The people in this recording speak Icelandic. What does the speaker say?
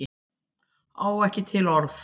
Á ekki til orð